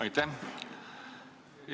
Aitäh!